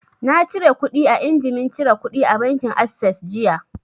Na cire kuɗi a injimin cire kuɗi na bankin assess jiya